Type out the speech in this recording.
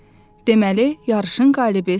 Deməli, yarışın qalibi sənsən.